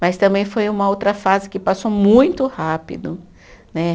Mas também foi uma outra fase que passou muito rápido, né.